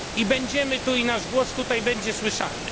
Będziemy tu i nasz głos tutaj będzie słyszalny.